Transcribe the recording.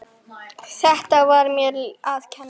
Þetta var mér að kenna.